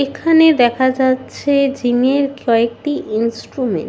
এখানে দেখা যাচ্ছে জিম এর কয়েকটি ইন্সট্রুমেন্ট ।